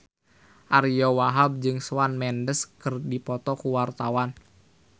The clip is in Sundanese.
Ariyo Wahab jeung Shawn Mendes keur dipoto ku wartawan